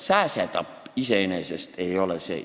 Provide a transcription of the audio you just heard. Kas sääsetapp ei ole iseenesest sama?